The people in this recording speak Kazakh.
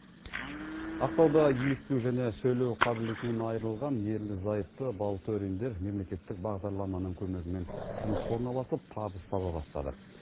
ақтауда есту және сөйлеу қабілетінен айрылған ерлі зайыпты балтөриндер мемлекеттік бағдарламаның көмегімен жұмысқа орналасып табыс таба бастады